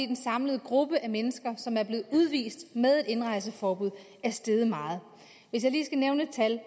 den samlede gruppe af mennesker som er blevet udvist med indrejseforbud er steget meget hvis jeg lige skal nævne et tal